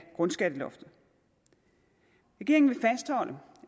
grundskatteloftet regeringen vil fastholde